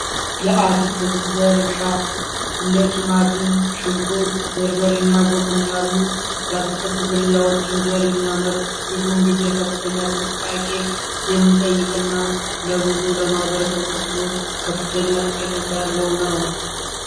የአትክልት ዘር እርሻ እንደ ቲማቲም ሽንኩርት በርበሬ እና ጎመን ያሉ የአትክልት ዝርያዎችን ዘር የሚያመርት ብዙውን ጊዜ ከፍተኛ ጥንቃቄ የሚጠይቅና ለብዙ ለማበረሰብ ክፍሎዎች ከፍተኛ ጠቀሜታ ያለው ነው።